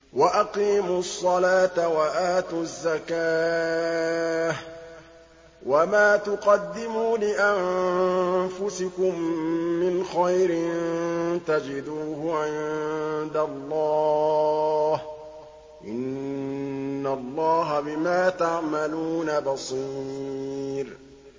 وَأَقِيمُوا الصَّلَاةَ وَآتُوا الزَّكَاةَ ۚ وَمَا تُقَدِّمُوا لِأَنفُسِكُم مِّنْ خَيْرٍ تَجِدُوهُ عِندَ اللَّهِ ۗ إِنَّ اللَّهَ بِمَا تَعْمَلُونَ بَصِيرٌ